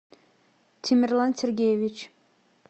тимерлан сергеевич